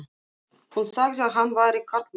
Hún sagði að hann væri karlmaður.